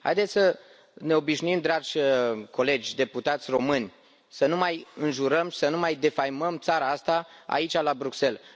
Haideți să ne obișnuim, dragi colegi deputați români, să nu mai înjurăm, să nu mai defăimăm țara asta, aici, la Bruxelles!